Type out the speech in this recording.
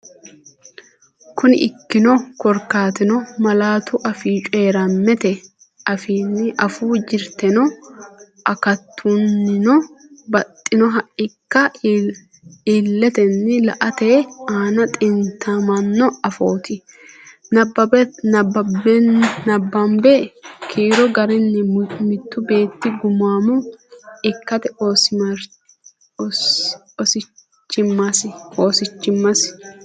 Kuni ikkino korkaatino, malaatu afii coyi’rammete afiinni afuu jirtennino akatunnino baxxinoha ikke illetenni la”ate aana xintamino afooti, Nabbabbini kiiro garinni mittu beetti gumaamo ikkate oosichimmasi?